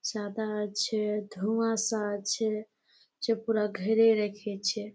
সাদা আছে ধুয়াশা আছে পুরা ঘেরে রেখেছে।